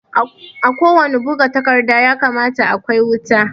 A ko wannan buga takarda ya kamata a kwai wuta